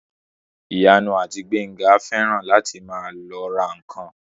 Ìyanu àti Gbénga fẹ́ràn láti máa lọ ra ǹkan